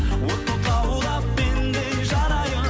от боп лаулап мен де жанайын